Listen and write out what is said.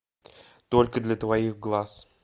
только для твоих глаз